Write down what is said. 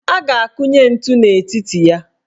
A ga-akunye ntu n' etiti ya.